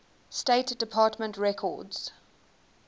state department records